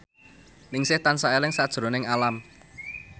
Ningsih tansah eling sakjroning Alam